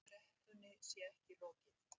Kreppunni sé ekki lokið